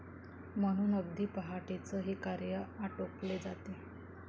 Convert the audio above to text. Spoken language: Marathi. म्हणून अगदी पहाटेच हे कार्य आटोपले जाते.